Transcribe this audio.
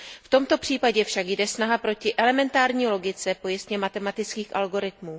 V tomto případě však jde snaha proti elementární logice pojistněmatematických algoritmů.